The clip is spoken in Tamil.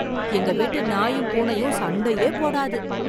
எங்க வீட்டு நாயும் பூனையும் சண்டையே போடாது